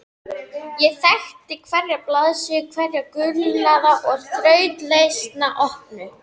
Ég þekkti hverja blaðsíðu, hverja gulnaða og þrautlesna opnu